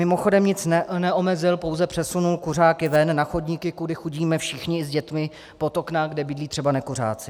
Mimochodem nic neomezil, pouze přesunul kuřáky ven, na chodníky, kudy chodíme všichni s dětmi, pod okna, kde bydlí třeba nekuřáci.